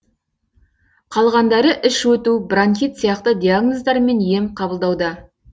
қалғандары іш өту бронхит сияқты диагноздармен ем қабылдауда